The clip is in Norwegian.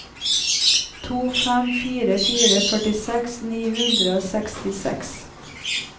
to fem fire fire førtiseks ni hundre og sekstiseks